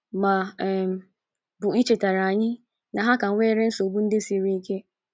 Ma ọ um bụ ichetara anyị na ha ka nwere nsogbu ndị siri ike!